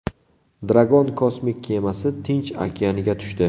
Dragon kosmik kemasi Tinch okeaniga tushdi.